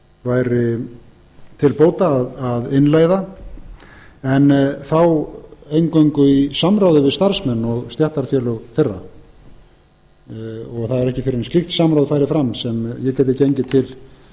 væri til bóta að innleiða en þá eingöngu í samráði við starfsmenn og stéttarfélög þeirra það væri ekki fyrr en slíkt samráð færi fram að ég gæti gengið til